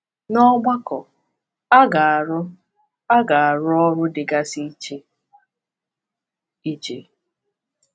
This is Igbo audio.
N’ọgbakọ, a ga-arụ a ga-arụ ọrụ dịgasị iche iche.